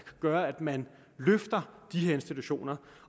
gøre at man løfter de her institutioner